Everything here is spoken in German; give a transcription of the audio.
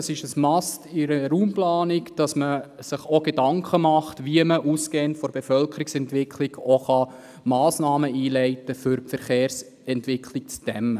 Es ist ein «must» in der Raumplanung, sich auch darüber Gedanken zu machen, wie man ausgehend von der Bevölkerungsentwicklung auch Massnahmen zur Dämmung der Verkehrsentwicklung einleiten kann.